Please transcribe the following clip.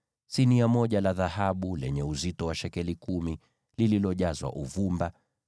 sinia moja la dhahabu lenye uzito wa shekeli kumi, likiwa limejazwa uvumba;